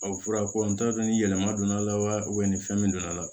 o fɔra ko n t'a dɔn ni yɛlɛma donna a la wa ni fɛn min donna la